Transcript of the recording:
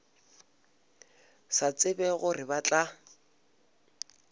sa tsebe gore ba tla